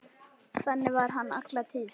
Þannig var hann alla tíð.